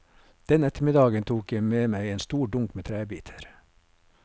Den ettermiddagen tok jeg med meg en stor dunk med trebiter.